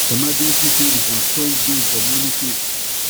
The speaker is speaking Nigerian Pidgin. emergency savings na strong base for money safety